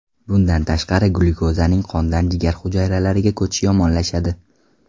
Bundan tashqari glyukozaning qondan jigar hujayralariga ko‘chishi yomonlashadi.